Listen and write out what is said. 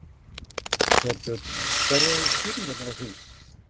Þorbjörn: Hverjar eru skýringarnar á því?